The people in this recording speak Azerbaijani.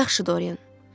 Yaxşı Dorian.